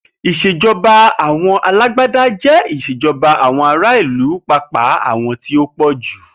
Ètò ìs̩èjo̩ba alágbádá jé̩ ìs̩èjo̩ba àwo̩n ará ìlú pàápàá àwo̩n tí ó pò̩jù